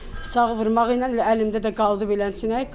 Bıçağı vurmağı ilə elə əlimdə də qaldı beləsinə.